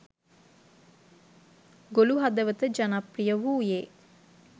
ගොළු හදවත ජනප්‍රිය වූයේ